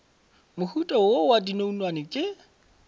mohuta wo wa dinonwane ke